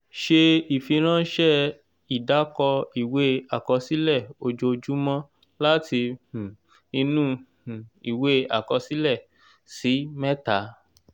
ṣe ìfiránsẹ́ ìdàkọ ìwé àkọsílẹ ojoojúmọ́ láti um inú um ìwé àkọsílẹ; ṣí mẹ́ta.